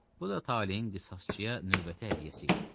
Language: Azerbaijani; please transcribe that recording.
Bu da taleyin qisasçıya növbəti hədiyyəsi idi.